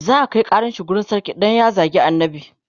za'a Kai ƙaran shi wurin sarki Dan ya zagi annabi